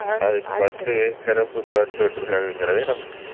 அதுக்கு first சிறப்பு bus விட்ருக்காகன்றது